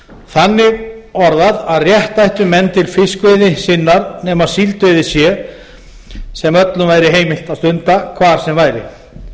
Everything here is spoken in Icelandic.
þannig orðað að rétt ættu menn til fiskveiði sinnar nema síldveiði sem öllum væri heimilt að stunda hvar sem væri